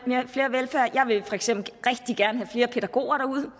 jeg vil for eksempel rigtig gerne have flere pædagoger